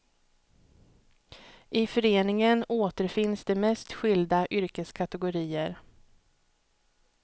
I föreningen återfinns de mest skilda yrkeskategorier.